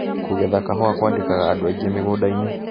Kũgetha kahũa kwandĩkaga andũ aingĩ mĩgũndainĩ.